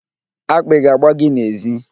Akpị ga-agba gị n'èzí.